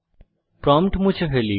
prompt মুছে ফেলি